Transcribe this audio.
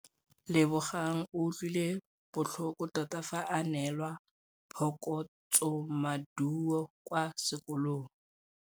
Lebogang o utlwile botlhoko tota fa a neelwa phokotsômaduô kwa sekolong.